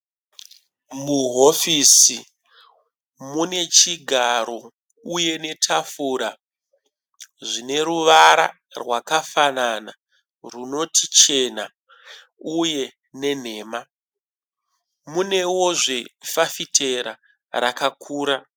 Muhofisi mune chigaro uye netafura zvine ruvara rwakafanana rwunoti chena uye nenhema. Munewozve fafitera rakakura.